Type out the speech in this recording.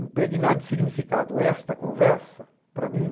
Impregnar de significado esta conversa, para mim,